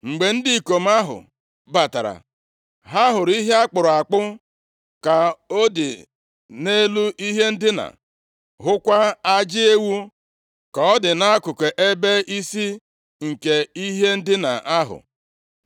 Mgbe ndị ikom ahụ batara, ha hụrụ ihe a kpụrụ akpụ ka ọ dị nʼelu ihe ndina, hụkwa ajị ewu ka ọ dị nʼakụkụ ebe isi nke ihe ndina ahụ.